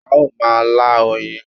A ó ma lá oyin